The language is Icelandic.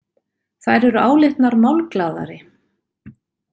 Þær eru álitnar málglaðari.